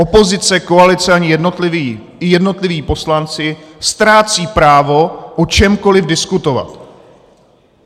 Opozice, koalice i jednotliví poslanci ztrácejí právo o čemkoliv diskutovat.